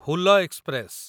Hul express